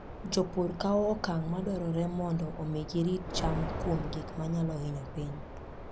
Jopur kawo okang' madwarore mondo omi girit cham kuom gik manyalo hinyo piny.